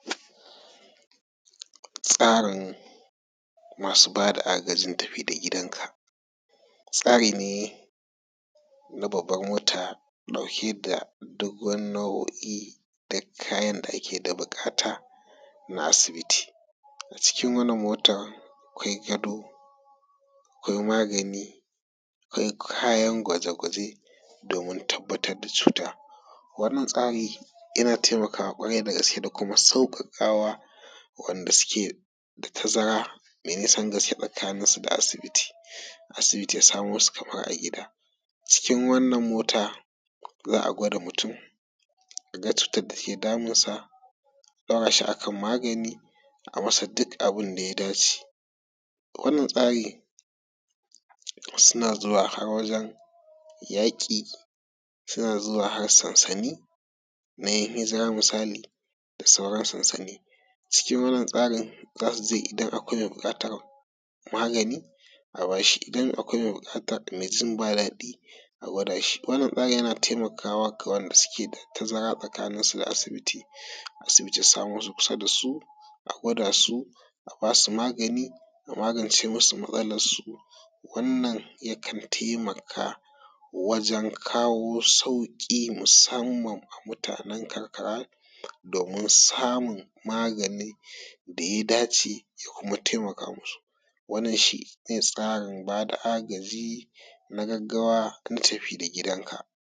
Tsarin masu ba da agajin tafi da gidanka. Tsari ne na babban mota dauke da doguwar nau'i'in duk kayan da ake da bukata a asibiti, a cikin wannan mota akwai gado akwai magani akwai kayan gwaje-gwaje domin tabbatar da cuta. Wannan tsari yana taimakawa kwarai dagaske da kuma sauƙawa wanda suke da tazara da nisan gaske tsakanin su da asibiti, asibi kamar a gida. Cikin wannan mota za a gwada mutum a tabbatar da abun da yake damunsa a daura shi a kan magani a yi masa duk abun da ya dace. Wannan tsari suna zuwa har wajen yaƙi suna zuwa har sansani na 'yan hijira da sauran sansani. Wannan tsarin za su je idan akwai mai buƙatar magani a ba shi, idan akwai mai jin babu daɗi a gwada shi. Wannna mota yana taimakawa ga waɗanda suke da tazara tsakaninsu da asibiti za su wuce kusa da su a gwada su a ba su magani a magance musu matsalarsu wannan yakan taimaka wajen kawo sauki musamman ga mutanen karkara domin samun magani da ya dace ya kuma taimaka musu. Wannan shi ne tsarin ba da agaji na gaggawa na tafi da gidanka.